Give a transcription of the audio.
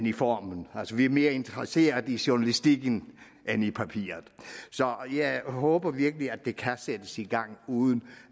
i formen altså vi er mere interesseret i journalistikken end i papiret så jeg håber virkelig at det kan sættes i gang uden